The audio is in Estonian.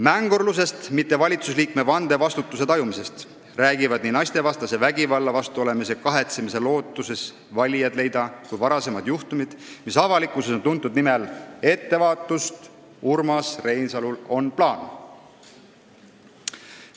Mängurlusest, mitte valitsusliikme vande vastutuse tajumisest räägivad nii naistevastase vägivalla vastu olemise kahetsemine lootuses valijaid leida kui ka varasemad juhtumid, mis avalikkuses on tuntud nime all "Ettevaatust, Urmas Reinsalul on plaan!".